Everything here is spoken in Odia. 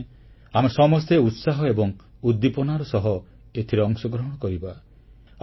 ମୁଁ ଚାହେଁ ଆମେ ସମସ୍ତେ ଉତ୍ସାହ ଏବଂ ଉଦ୍ଦୀପନାର ସହ ଏଥିରେ ଅଂଶଗ୍ରହଣ କରିବା